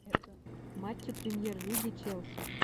матчи премьер лиги челси